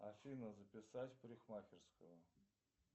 афина записать в парикмахерскую